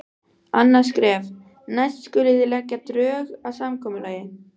Annað skref: Næst skulið þið leggja drög að samkomulagi.